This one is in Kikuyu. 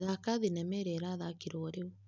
Thaka thinema ĩrĩa ĩrathakirwo ororiu.